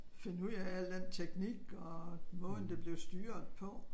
Finde ud af alt den teknik og måden det blev styret på